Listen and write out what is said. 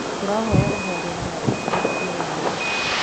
Tũrahoya uhoreri na ũkirĩ rĩ ria wanyu